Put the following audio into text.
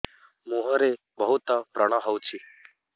ମୁଁହରେ ବହୁତ ବ୍ରଣ ହଉଛି